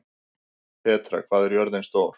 Petra, hvað er jörðin stór?